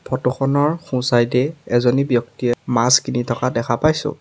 ফটোখনৰ সোঁ চাইড এ এজনী ব্যক্তিয়ে মাছ কিনি থকা দেখা পাইছোঁ।